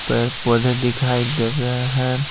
पेड़ पौधे दिखाई दे रहे हैं।